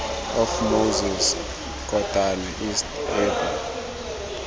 of moses kotane east apo